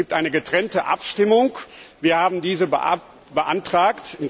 Es gibt eine getrennte Abstimmung. Wir haben diese beantragt.